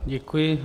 Děkuji.